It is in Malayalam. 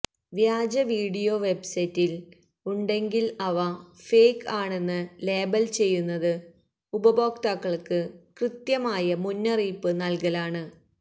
വ്യാജ വീഡിയോ വെബ്സൈറ്റിൽ ഉണ്ടെങ്കിൽ അവ ഫേക്ക് ആണെന്ന് ലേബൽ ചെയ്യുന്നത് ഉപയോക്താക്കൾക്ക് കൃത്യമായ മുന്നറിയിപ്പ് നൽകലാണ്